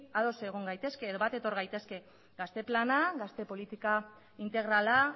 ados egon gaitezke bat etor gaitezke gazte plana gazte politika integrala